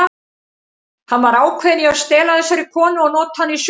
Hann var ákveðinn í að stela þessari konu og nota hana í sögu.